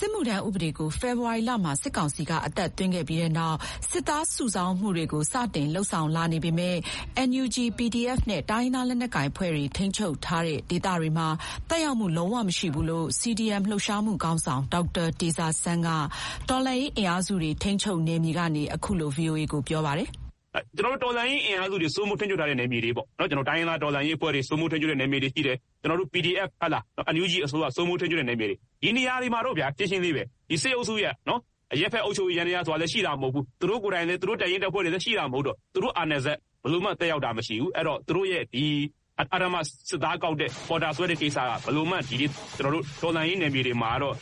စစ်မှုထမ်းဥပဒေကို ဖေဖေါ်ဝါရီလမှာ စစ်ကောင်စီက အသက်သွင်းခဲ့ပြီးနောက် စစ်သားစုဆောင်းမှုတွေ စတင်လုပ်ဆောင်လာနေပေမဲ့ NUG, PDF နဲ့ တိုင်းရင်းသားလက်နက်ကိုင်အဖွဲ့တွေ ထိန်းချုပ်ထားတဲ့ဒေသတွေမှာ သက်ရောက်မှု လုံးဝမရှိဘူးလို့ CDM လှုပ်ရှားမှုခေါင်းဆောင် ဒေါက်တာတေဇာဆန်းက တော်လှန်ရေးအင်အားစုတွေ ထိန်းချုပ်နယ်မြေကနေ အခုလို ဗွီအိုအေကို ပြောပါတယ်။ "ကျနော်တို့တော်လှန်ရေးအင်အားစုတွေ စိုးမိုးထိန်းချုပ်ထားတဲ့နယ်မြေတွေပေါ့-တိုင်းရင်းသားတော်လှန်ရေးအဖွဲ့တွေ စိုးမိုးထိန်းချုပ်ထားတဲ့နယ်မြေတွေရှိတယ်၊ ကျနော်တို့ PDF - NUG အစိုးရစိုးမိုးထိန်းချုပ်ထားတဲ့နယ်မြေတွေ...ဒီနေရာမှာတော့ဗျာ၊ ရှင်းရှင်းလေးပဲ။ စစ်အုပ်စုရဲ့အရပ်ဘက်အုပ်ချုပ်ရေး ယန္တရားဆိုတာလည်း ရှိတာမဟုတ်ဘူး။ သူတို့ကိုယ်တိုင်လည်း သူတို့တပ်ရင်းတပ်ဖွဲ့တွေလည်း ရှိတာမဟုတ်တော့ သူတို့အာဏာစက် ဘယ်လိုမှသက်ရောက်တာမရှိဘူး။ အဲဒီတော့ သူတို့ရဲ့အဓမ္မစစ်သားကောက်တဲ့၊ ပေါ်တာဆွဲတဲ့ကိစ္စက ကျနော်တို့ တော်လှန်ရေးနယ်မြေတွေမှာတော့ မ